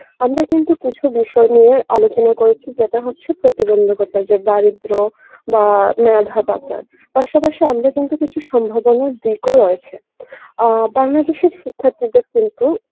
আমরা কিন্তু কিছু বিষয় নিয়ে আলোচনা করেছি যেটা হচ্ছে প্রতিবন্ধকতা যে দারিদ্র বা মেধা পাচার পাশাপাশি আমরা কিন্তু কিছু সম্ভাবনার দিকও রয়েছে আ বাংলা দেশের শিক্ষার্থীদের কিন্তু